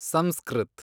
Sanskrit